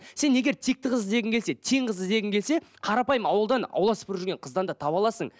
сен егер текті қыз іздегің келсе тең қызды іздегің келсе қарапайым ауылдан ауылдас бір жүрген қыздан да таба аласың